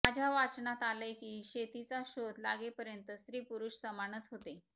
माझ्या वाचनात आलंय की शेतीचा शोध लागेपर्यंत स्त्रीपुरुष समानच होते